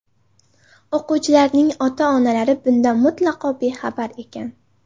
O‘quvchilarning ota-onalari bundan mutlaqo bexabar ekan.